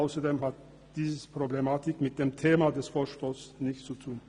Ausserdem hat diese Problematik mit dem Thema des Vorstosses nichts zu tun.